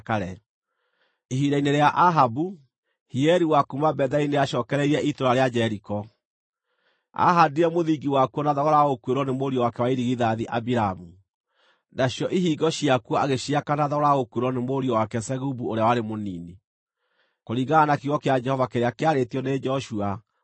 Ihinda-inĩ rĩa Ahabu, Hieli wa kuuma Betheli nĩacookereirie itũũra rĩa Jeriko. Aahaandire mũthingi wakuo na thogora wa gũkuĩrwo nĩ mũriũ wake wa irigithathi Abiramu, nacio ihingo ciakuo agĩciaka na thogora wa gũkuĩrwo nĩ mũriũ wake Segubu ũrĩa warĩ mũnini, kũringana na kiugo kĩa Jehova kĩrĩa kĩarĩtio nĩ Joshua mũrũ wa Nuni.